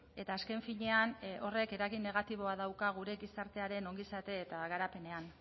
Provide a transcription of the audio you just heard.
eta azken finean horrek eragin negatiboa dauka gure gizartearen ongizate eta garapenean